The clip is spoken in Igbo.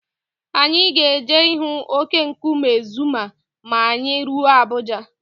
Anyị ga-eje ịhụ óké nkume Zuma ma anyị ruo Abuja.